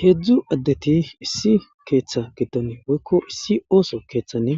Heedzdzu addeti issi keeththa giddon woykko issi ooso keeththani